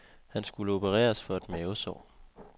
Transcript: Han skulle opereres for et mavesår.